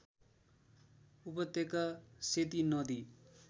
उपत्यका सेती नदी